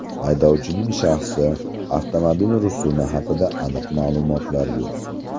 Haydovchining shaxsi, avtomobil rusumi haqida aniq ma’lumotlar yo‘q.